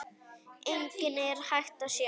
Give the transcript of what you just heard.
Einnig er hægt að sjá.